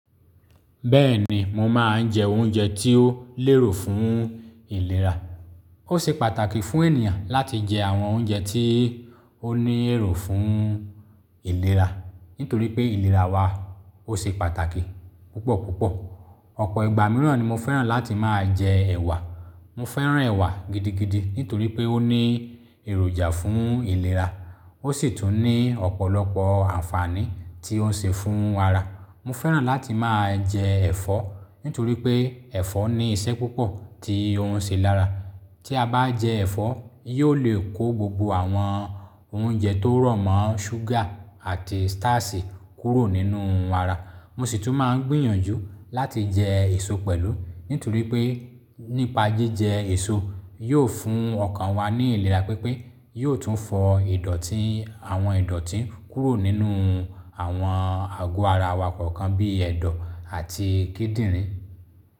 Bẹ́ẹ̀ni, mo máa ń jẹ oúnjẹ tí ó lérò fún ìlera. Ó ṣe pàtàkì fún ènìyàn láti jẹ àwọn oúnjẹ tí ó ní èrò fún ìlera, nítorí pé ìlera wa ó ṣe pàtàkì púpọ̀ púpọ̀. Ọ̀pọ̀ ìgbà mìíràn ni mo fẹ́ràn láti máa jẹ ẹ̀wà. Mo fẹ́ràn ẹ̀wà gidigidi nítorí pé ó ní èròjà fún ìlera, ó sì tún ní ọ̀pọ̀lọpọ̀ ànfàní tí ó ń ṣe fún ara. Mo fẹ́ràn láti máa jẹ ẹ̀fọ́ nítorí pé ẹ̀fọ́ ní iṣẹ́ púpọ̀ tí ó ń ṣe lára. Tí a bá jẹ ẹ̀fọ́, yóò lè kó gbogbo àwọn oúnjẹ tó rọ̀mọ́ ṣúgà àti starch kúrò nínú ara. Mo sì tún máa ń gbìyànjú láti jẹ èso pẹ̀lú nítorí pé nípa jíjẹ èso yóò fún ọkàn wa ní ìlera pípé, yóò tún fọ ìdọ̀tí àwọn ìdọ̀tí kúrò nínú àwọn àgọ́ ara wa kọ̀ọ̀kan bí ẹ̀dọ̀ àti kíndìnrín.